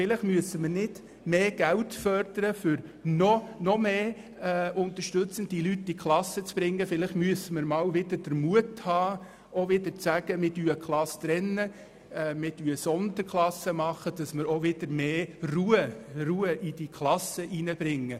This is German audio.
Vielleicht müssen wir nicht mehr Geld fordern, um noch mehr unterstützende Personen in die Klassen zu bringen, sondern einmal den Mut haben, eine Klasse zu trennen und Sonderklassen zu schaffen, damit wir wieder mehr Ruhe in die Klassen hineinbringen.